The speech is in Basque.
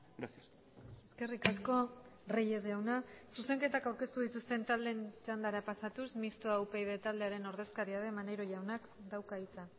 gracias eskerrik asko reyes jauna zuzenketak aurkeztu dituzten taldeen txandara pasatuz mistoa upyd taldearen ordezkaria den maneiro jaunak dauka hitza